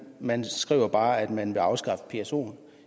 man skriver bare at man vil afskaffe psoen